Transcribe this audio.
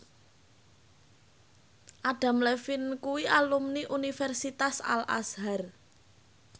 Adam Levine kuwi alumni Universitas Al Azhar